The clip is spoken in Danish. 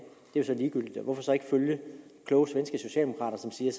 hvorfor så ikke følge de kloge svenske socialdemokrater som siger